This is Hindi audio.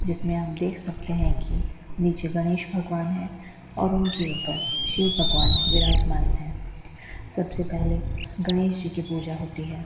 जिसमें आप देख सकते हैं कि नीचे गणेश भगवान है और उनके ऊपर शिव भगवान विराजमान है सबसे पहले गणेश जी की पूजा होती है।